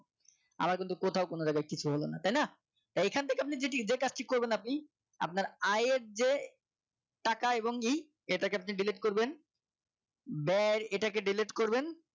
আমার কিন্তু কোথাও কোন জায়গায় কিছু হলো না তাই না এখান থেকে যদি আপনি এদের কাজটি করবেন আপনি আপনার আয়ের যে টাকা এবংই এটাকে আপনি delete করবেন ব্যয় এটাকে delete করবেন